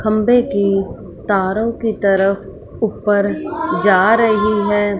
खंबे की तारो की तरफ ऊपर जा रही है।